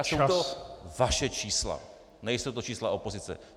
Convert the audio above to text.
A jsou to vaše čísla, nejsou to čísla opozice.